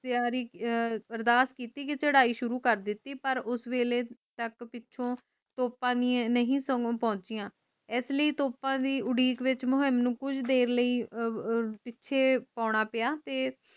ਤਿਆਰੀ ਅਹ ਅਰਦਾਸ ਕੀਤੀ ਕਿ ਚੜਾਈ ਸ਼ੁਰੂ ਕਰ ਦਿਤੀ ਪਾਰ ਉਸ ਵੇਲੇ ਤਕ ਤੋਪ ਨਹੀਂ ਸੀਗੀ ਪੋਂਛਿਯਾ ਇਸਲਈ ਤੋਪ ਦੀ ਉਡੀਕ ਵਿਚ ਮੋਹਣੀ ਉ ਪਿੱਛੇ ਓਹਨਾ ਪੀਯਾ